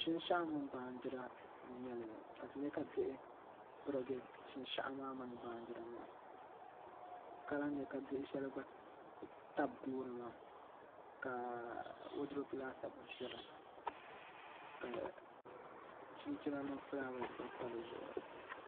Shinshaɣu mini baanjira n nyɛli ka ti nyɛ ka diɣi pirigi shinshaɣu maa mini baanjira maa ka lahi nyɛ ka diɣi shɛli gba tabi gooni maa ka woodurop laasabu biɛni ka chinchina mini fulaawɛs pa dizuɣu